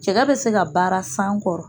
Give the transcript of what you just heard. Cɛgɛ be se ka baara san kɔrɔ